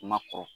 Ma kɔrɔ